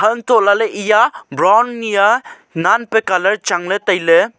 hanto lale eya brown niaa naan pe colour changle taile.